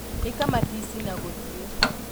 ĩka matici ma gũthiĩ